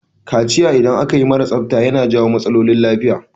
Kaciyar da akayi mara tsafta ya na jawo matsaolin lafiya.